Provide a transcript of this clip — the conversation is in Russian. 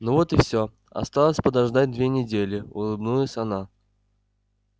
ну вот и всё осталось подождать две недели улыбнулась она